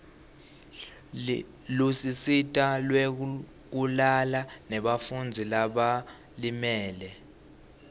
lusito lwekulala lebafundzi labalimele